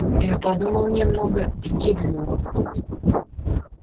я подумал немного и кивнул